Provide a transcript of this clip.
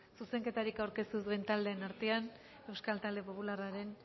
zuzenketarik aurkeztu ez duen taldeen artean euskal talde popularraren